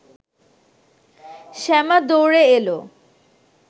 শ্যামা দৌড়ে এলো